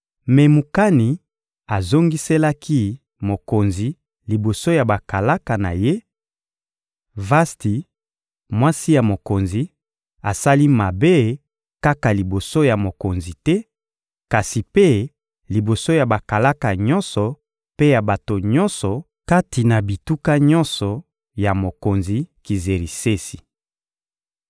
Memukani azongiselaki mokonzi liboso ya bakalaka na ye: — Vasti, mwasi ya mokonzi, asali mabe kaka liboso ya mokonzi te; kasi mpe, liboso ya bakalaka nyonso mpe ya bato nyonso kati bituka nyonso ya mokonzi Kizerisesi.